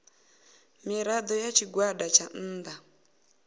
mirado ya tshigwada tsha nnda